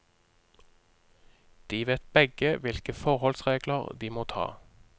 De vet begge hvilke forholdsregler de må ta.